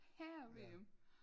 Herre VM